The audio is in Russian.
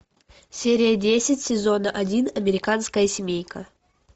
серия десять сезон один американская семейка